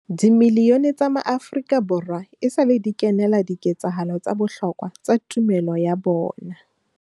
Dimilione tsa maAfrika Borwa esale di kenela di ketsahalo tsa bohlokwa tsa tumelo ya bona.